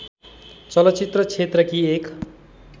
चलचित्र क्षेत्रकी एक